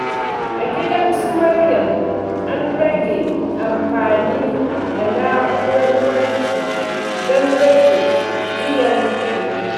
A gidan su Maryam, an rage amfani da na’urar wanki don rage biyan kuɗi.